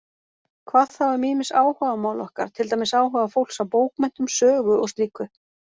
Hvað þá um ýmis áhugamál okkar, til dæmis áhuga fólks á bókmenntum, sögu og slíku?